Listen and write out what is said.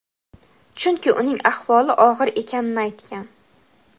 chunki uning ahvoli og‘ir ekanini aytgan.